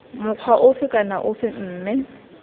mokgwa ofe kana ofe mme